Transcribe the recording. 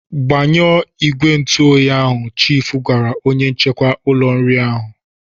Gbanyụọ ìgwè ntụoyi ahụ!" Chiifu gwara onye nchekwa ụlọ nri ahụ.